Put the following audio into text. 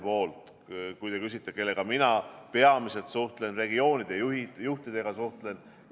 Kui te küsite, kellega mina Terviseametist peamiselt suhtlen , siis ütlen, et mina suhtlen regioonide juhtidega.